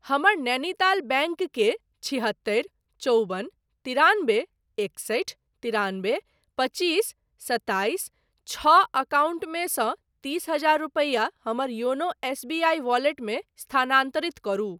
हमर नैनीताल बैंक के छिहत्तरि चौबन तिरानबे एकसठि तिरानबे पचीस सताइस छओ एकाउन्ट मे सँ तीस हजार रुपैया हमर योनो एसबीआई वैलेट मे स्थानान्तरित करू।